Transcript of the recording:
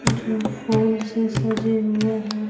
जो फूल से सजे हुए हैं।